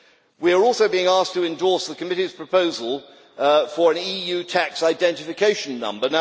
We are also being asked to endorse the Committee's proposal for an EU tax identification number.